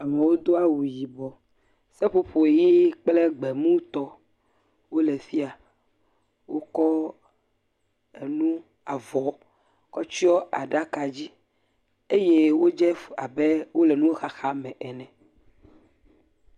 Amewo do awu yibɔ, seƒoƒo ʋi kple gbe mutɔ wole fi ya, wokɔ enu avɔ kɔ tsyɔ̃ aɖaka dzi eye wodze abe wole nuxaxa me ene.